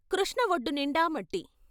కృష్ణ వొడ్డునిండా మట్టి....